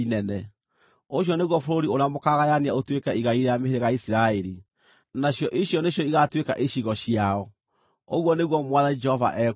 “Ũcio nĩguo bũrũri ũrĩa mũkaagayania ũtuĩke igai rĩa mĩhĩrĩga ya Isiraeli, nacio icio nĩcio igaatuĩka icigo ciao,” ũguo nĩguo Mwathani Jehova ekuuga.